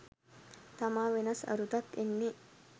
තමා වෙනස් අරුතක් එන්නේ.